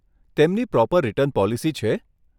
તેમની proper return policy છે?